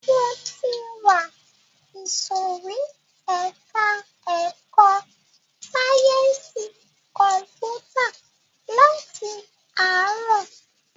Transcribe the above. Mo ti wà ìsòrí ẹka ẹ̀kọ́ sáyẹnsì kọ̀mpútà láti ààrọ̀.